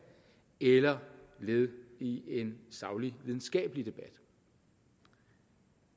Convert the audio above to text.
eller led i en saglig videnskabelig debat